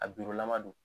A lama don